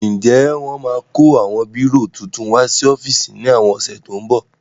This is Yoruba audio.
Ǹjẹ́ wọ́n máa kó àwọn bírò titun wá sí ọ́fíìsì ní àwọn ọ̀sẹ̀ tó ń bọ̀?